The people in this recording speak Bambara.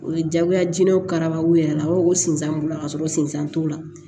O ye jagoya diinɛ karabaw yɛrɛ b'a fɔ ko sinzan b'u la ka sɔrɔ sensan t'o la